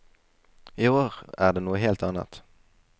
I år er det noe helt annet.